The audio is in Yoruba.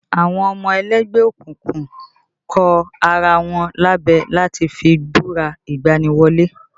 Àwọn ọmọ ẹlẹ́gbẹ́ òkùnkùn kọ ara wọn lábẹ láti fi búra ìgbani wọlé